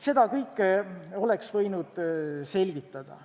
Seda kõike oleks võinud selgitada.